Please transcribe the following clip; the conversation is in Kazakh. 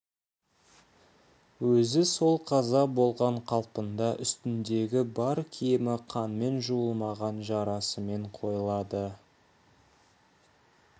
өзі сол қаза болған қалпында үстіндегі бар киімі қанмен жуылмаған жарасымен қойылады